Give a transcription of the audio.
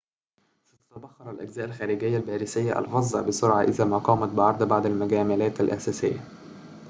ستتبخر الأجزاء الخارجية الباريسية الفظة بسرعة إذا ما قمت بعرض بعض المجاملات الأساسية